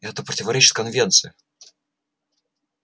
это противоречит конвенции